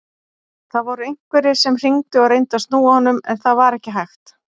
Það voru einhverjir sem hringdu og reyndu að snúa honum en það var ekki hægt.